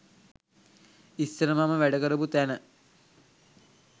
ඉස්සර මම වැඩ කරපු තැන